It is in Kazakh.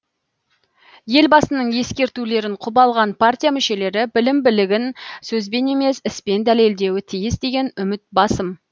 елбасының ескертулерін құп алған партия мүшелері білім білігін сөзбен емес іспен дәлелдеуі тиіс деген үміт басым